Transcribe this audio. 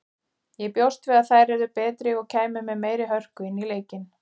Ég bjóst við að þær yrðu betri og kæmu með meiri hörku inn í leikinn.